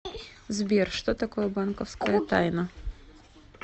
сбер что такое банковская тайна